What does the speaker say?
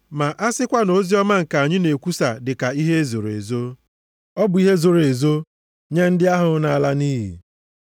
Ma a sịkwa na oziọma nke anyị na-ekwusa dịka ihe e zoro ezo, ọ bụ ihe e zoro ezo nye ndị ahụ na-ala nʼiyi.